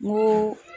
N ko